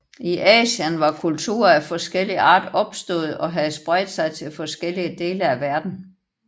I Asien var kulturer af forskellig art opståede og havde spredt sig til forskellige dele af verden